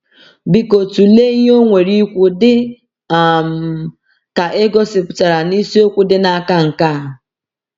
Biko tụlee ihe o nwere ikwu dị um ka e gosipụtara na isiokwu dị n’aka nke a.